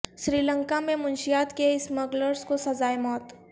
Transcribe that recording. سری لنکا میں منشیات کے اسمگلرس کو سزائے موت